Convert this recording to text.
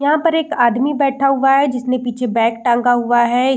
यहां पर एक आदमी बैठा हुआ है जिसने पीछे बैग टंगा हुआ है।